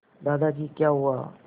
दादाजी क्या हुआ